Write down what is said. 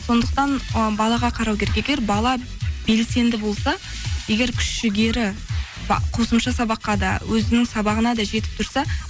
сондықтан ы балаға қарау керек егер бала белсенді болса егер күш жігері қосымша сабаққа да өзінің сабағына да жетіп тұрса